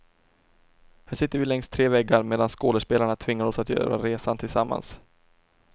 Här sitter vi längs tre väggar, medan skådespelarna tvingar oss att göra resan tillsammans.